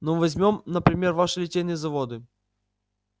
ну возьмём например ваши литейные заводы